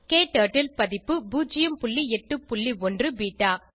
க்டர்ட்டில் பதிப்பு 081 பெட்டா